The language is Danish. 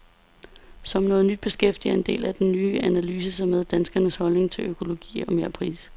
Som noget nyt beskæftiger en del af den ny analyse sig med danskernes holdning til økologi og merpris.